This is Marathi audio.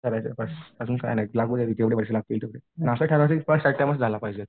करायचे बस काही नाही लागू देत जेवढे पैसे लागायचे तेवढे, पण असं ठरव की फर्स्ट अटेम्प्टचं झाला पाहिजे.